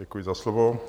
Děkuji za slovo.